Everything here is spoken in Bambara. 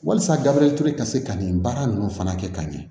Walasa gabriel ture ka se ka nin baara ninnu fana kɛ ka ɲɛ